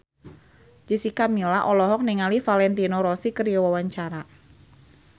Jessica Milla olohok ningali Valentino Rossi keur diwawancara